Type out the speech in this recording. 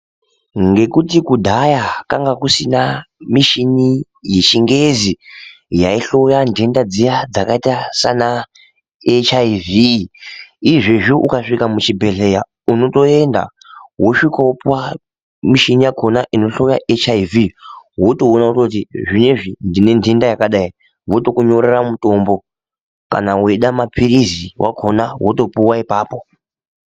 Ngekuti kudhaya kwanga kusina mishini yechingezi yayihloya ntenda dziya dzakaita sana HIV ,izvezvi ukasvika muchibhedleya unotoenda wosvikawopiwa mishini yakona inohlaya HIV wotowona ,kuti ezvinoizvi ndinendenda yakadai votokunyorera mutombo kana weida mapirisi akona wotopuwa ipapo.